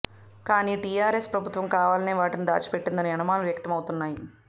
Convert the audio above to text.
కానీ టీఆర్ఎస్ ప్రభుత్వం కావాలనే వాటిని దాచిపెట్టిందన్న అనుమానాలు వ్యక్తమవుతున్నాయి